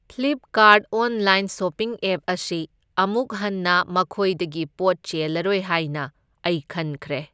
Flipkart online shopping app ꯑꯁꯤ ꯑꯃꯨꯛꯍꯟꯅ ꯃꯈꯣꯏꯗꯒꯤ ꯄꯣꯠ ꯆꯦꯜꯂꯔꯣꯏ ꯍꯥꯏꯅ ꯑꯩ ꯈꯟꯈ꯭ꯔꯦ꯫